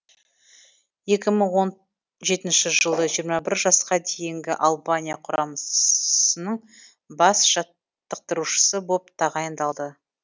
екі мың он жетінші жылы жиырма бір жасқа дейінгі албания құрамасының бас жаттықтырушысы боп тағайындалды